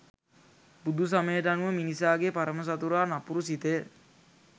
බුදුසමයට අනුව මිනිසාගේ පරම සතුරා නපුරු සිතය